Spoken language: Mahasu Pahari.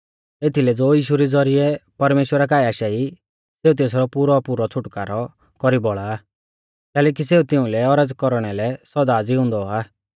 एथीलै ज़ो यीशु रै ज़ौरिऐ परमेश्‍वरा काऐ आशा ई सेऊ तेसरौ पुरौपुरौ छ़ुटकारौ कौरी बौल़ा आ कैलैकि सेऊ तिउंलै औरज़ कौरणै लै सौदा ज़िउंदौ आ